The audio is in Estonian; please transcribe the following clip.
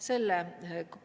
Selle